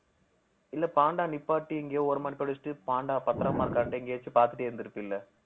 இல்ல பாண்டா நிப்பாட்டி எங்கேயோ ஓரமா நிப்பாட்டிவச்சுட்டு பாண்டா பத்திரமா இருக்கான்னுட்டு எங்கேயாச்சும் பார்த்துட்டே இருந்திருப்பீல்ல